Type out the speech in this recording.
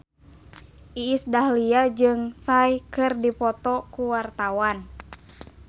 Iis Dahlia jeung Psy keur dipoto ku wartawan